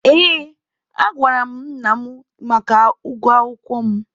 Ee, agwara m nna mụ maka ụgwọ akwụkwọ mụ.